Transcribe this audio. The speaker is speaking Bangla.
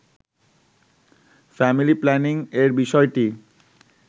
ফ্যামিলি প্ল্যানিং এর বিষয়টি